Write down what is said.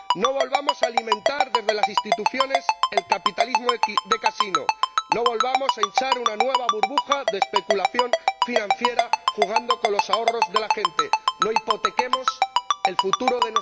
No volvamos a alimentar desde las instituciones el capitalismo de casino, no volvamos a hinchar una nueva burbuja de especulación financiera jugando con los ahorros de la gente, no hipotequemos el futuro de nuestros ciudadanos.